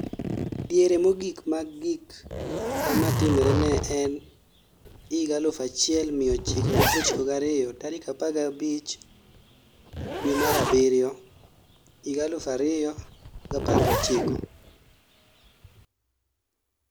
Diere mogik ma gik kama timre nene en 1992 tarik 15 Julai 2019